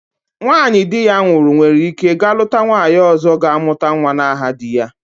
Nwanyị di ya nwụrụ nwere ike ga-lụta nwanyi ọzọ ga-amụta nwa n'aha di ya.